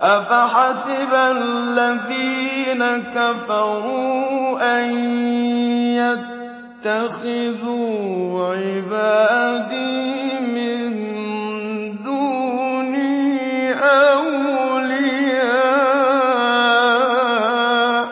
أَفَحَسِبَ الَّذِينَ كَفَرُوا أَن يَتَّخِذُوا عِبَادِي مِن دُونِي أَوْلِيَاءَ ۚ